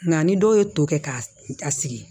Nka ni dɔw ye to kɛ k'a sigi